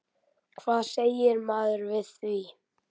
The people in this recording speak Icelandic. Hvað segir maður við því?